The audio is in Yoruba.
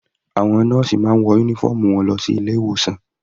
Àwọn nọ́ọ̀sì máa ń wọ uniform wọn ní ilé ìwòsan.